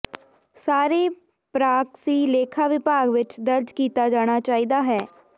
ਸਾਰੇ ਪਰਾਕਸੀ ਲੇਖਾ ਵਿਭਾਗ ਵਿਚ ਦਰਜ ਕੀਤਾ ਜਾਣਾ ਚਾਹੀਦਾ ਹੈ